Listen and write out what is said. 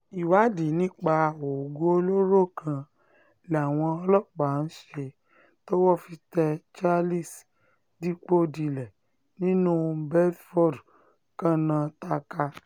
ìwádìí nípa oògùn olóró kan làwọn ọlọ́pàá ń ṣe um tọ́wọ́ fi tẹ charles dipòdìlẹ̀ nílùú bedford karnataka